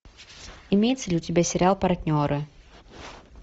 имеется ли у тебя сериал партнеры